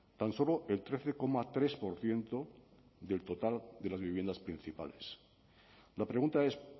tan solo el trece coma tres por ciento del total de las viviendas principales la pregunta es